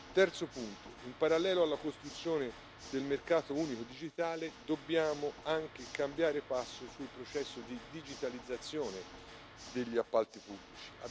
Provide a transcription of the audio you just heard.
Terzo punto in parallelo alla costruzione del mercato unico digitale dobbiamo anche cambiare passo sul processo di digitalizzazione degli appalti pubblici.